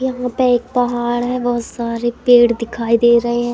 यहां पे एक पहाड़ है बहुत सारे पेड़ दिखाई दे रहे हैं।